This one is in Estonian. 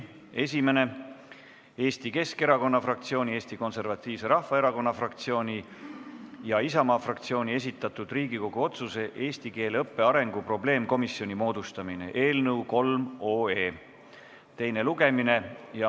Esimene on Eesti Keskerakonna fraktsiooni, Eesti Konservatiivse Rahvaerakonna fraktsiooni ja Isamaa fraktsiooni esitatud Riigikogu otsuse "Eesti keele õppe arengu probleemkomisjoni moodustamine" eelnõu teine lugemine.